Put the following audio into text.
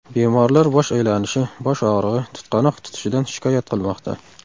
Bemorlar bosh aylanishi, bosh og‘rig‘i, tutqanoq tutishidan shikoyat qilmoqda.